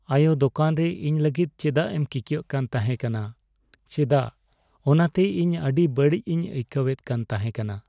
ᱟᱭᱳ! ᱫᱳᱠᱟᱱ ᱨᱮ ᱤᱧ ᱞᱟᱹᱜᱤᱫ ᱪᱮᱫᱟᱜ ᱮᱢ ᱠᱤᱠᱭᱟᱹᱜ ᱠᱟᱱ ᱛᱟᱦᱮᱸᱠᱟᱱᱟ ᱪᱮᱫᱟᱜ, ᱚᱱᱟᱛᱮ ᱤᱧ ᱟᱹᱰᱤ ᱵᱟᱹᱲᱤᱡᱤᱧ ᱟᱹᱭᱠᱟᱹᱣᱮᱫ ᱠᱟᱱ ᱛᱟᱦᱮᱠᱟᱱᱟ ᱾